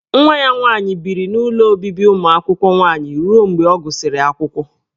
Nwa ya nwaanyị biri n'ụlọ obibi ụmụ akwụkwọ nwaanyị ruo mgbe ọ gụsịrị akwụkwọ.